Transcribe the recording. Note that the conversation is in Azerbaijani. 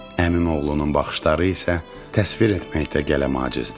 Əmimoğlunun baxışları isə təsvir etməkdə qələm acizdir.